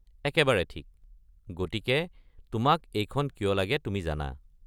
একেবাৰে ঠিক, গতিকে তোমাক এইখন কিয় লাগে তুমি জানা।